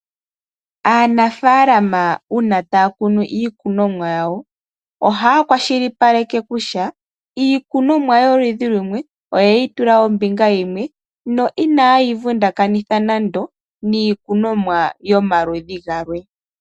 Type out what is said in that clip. Aanafaalama uuna taya kunu iikunomwa yawo ohaya kwashilipaleke kutya iikunomwa yoludhi lumwe oye yi tula ombinga yimwe na inaye yi vundakanitha nando niikunomwa yomaludhi galwe.